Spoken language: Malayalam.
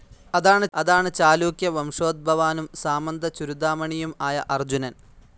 അതാണ് ചാലൂക്യ വംശോദ്ഭവാനും, സാമന്ത ചുരുദാമണിയും ആയ അർജുനൻ.